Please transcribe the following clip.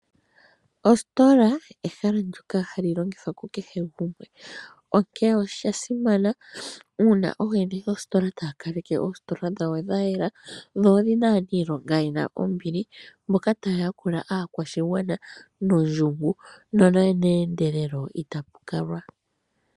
Ositola oyo ehala ndyono hali longithwa ku kehe gumwe. Onkene osha simana uuna ooyene yoostola taya kaleke oositola dhawo dhayela, dho odhina aanilonga ye na ombili, mboka taya yakula aakwashigwana nondjungu nomeendelo.